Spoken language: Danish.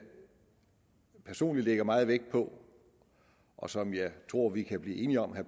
personligt lægger meget vægt på og som jeg tror vi kan blive enige om